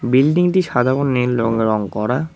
বিল্ডিংটি সাদা ও নীল রঙে রং করা।